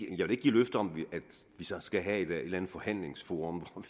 give løfte om at vi så skal have et eller andet forhandlingsforum